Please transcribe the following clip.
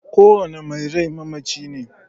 Kowane mai rai mamaci ne.